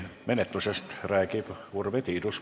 Menetlusest õiguskomisjonis räägib Urve Tiidus.